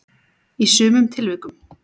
í sumum tilvikum.